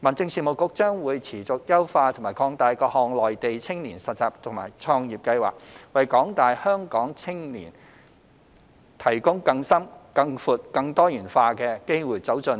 民政事務局將會持續優化和擴大各項內地青年實習及創業計劃，為廣大香港青年提供更深、更闊、更多元化的機會走進